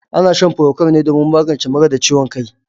Ana shan furokwal ne domin magance mura da ciwon kai.